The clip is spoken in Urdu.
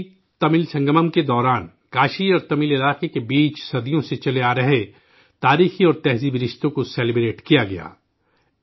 کاشیتمل سنگمم کے دوران، کاشی اور تمل علاقے کے درمیان صدیوں سے چلے آ رہے تاریخی اور ثقافتی رشتوں کو سیلیبریٹ کیا گیا